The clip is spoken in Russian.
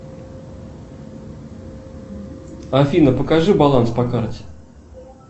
афина покажи баланс по карте